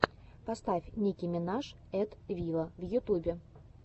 поставь ники минаж эт виво в ютюбе